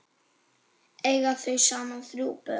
Eiga þau saman þrjú börn.